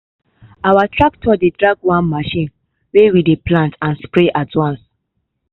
our tractor dey drag one machine wey we dey plant and sprayer do am.